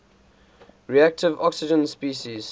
reactive oxygen species